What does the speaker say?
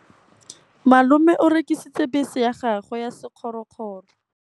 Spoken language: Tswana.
Malome o rekisitse bese ya gagwe ya sekgorokgoro.